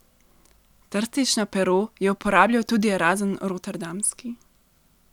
Trstično pero je uporabljal tudi Erazem Rotterdamski.